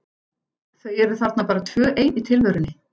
Þau eru þarna bara tvö ein í tilverunni.